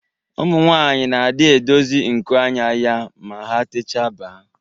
Ụmụ nwanyị na adi edozi nku anya ya ma ha techaa ba